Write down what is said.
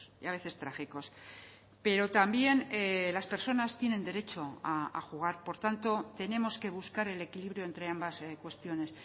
y a veces trágicos pero también las personas tienen derecho a jugar por tanto tenemos que buscar el equilibrio entre ambas cuestiones